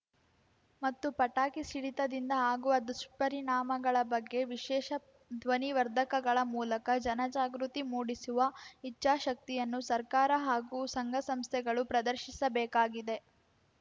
ಮತ್ತು ಪಟಾಕಿ ಸಿಡಿತದಿಂದ ಆಗುವ ದುಷ್ಪರಿಣಾಮಗಳ ಬಗ್ಗೆ ವಿಶೇಷ ಧ್ವನಿವರ್ಧಕಗಳ ಮೂಲಕ ಜನ ಜಾಗೃತಿ ಮೂಡಿಸುವ ಇಚ್ಚಾಶಕ್ತಿಯನ್ನು ಸರ್ಕಾರ ಹಾಗೂ ಸಂಘ ಸಂಸ್ಥೆಗಳು ಪ್ರದರ್ಶಿಸಬೇಕಾಗಿದೆ